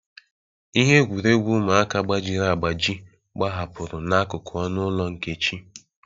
Ihe egwuregwu ụmụaka gbajiri agbaji gbahapụrụ n'akụkụ ọnụ ụlọ Nkechi.